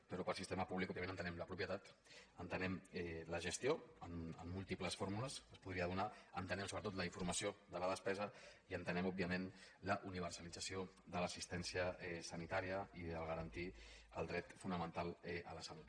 però per sistema públic òbviament entenem la propietat entenem la gestió amb múltiples fórmules que es podrien donar entenem sobretot la informació de la despesa i entenem òbviament la universalització de l’assistència sanitària i de garantir el dret fonamental a la salut